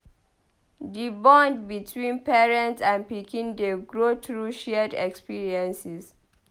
Di bond between parent and pikin dey grow through shared experiences.